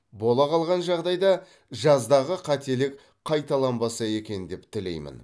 бола қалған жағдайда жаздағы қателік қайталанбаса екен деп тілеймін